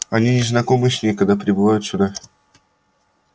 они не знакомы с ней когда прибывают сюда